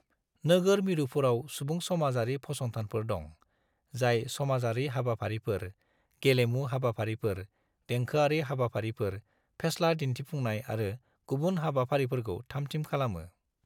नोगोर मिरुफोराव सुबुं-समाजारि फसंनथानफोर दं, जाय समाजारि हाबाफारिफोर, गेलेमु हाबाफारिफोर, देंखोआरि हाबाफारिफोर, फेस्ला दिन्थिफुंनाय आरो गुबुन हाबाफारिफोरखौ थामथिम खालामो।